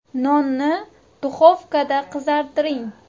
Nonni duxovkada qizartiring.